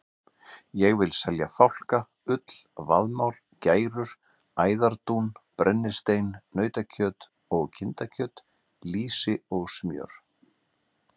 Ég vil selja fálka, ull, vaðmál, gærur, æðardún, brennistein, nautakjöt og kindakjöt, lýsi og smjör.